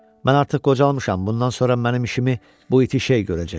Mən artıq qocalmışam, bundan sonra mənim işimi bu iti şey görəcək.